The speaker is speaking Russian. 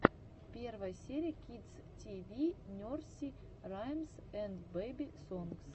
первая серия кидс ти ви нерсери раймс энд бэби сонгс